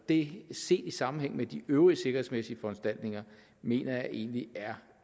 det set i sammenhæng med de øvrige sikkerhedsmæssige foranstaltninger mener jeg egentlig er